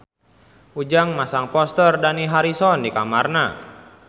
Ujang masang poster Dani Harrison di kamarna